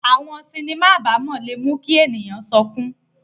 Awọn sinima abamọ le mu ki eniyan sọkun